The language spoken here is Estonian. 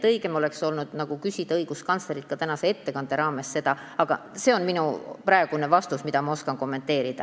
Õigem oleks olnud küsida seda õiguskantslerilt tänase ettekande raames, aga see on minu praegune vastus, niipalju ma oskan kommenteerida.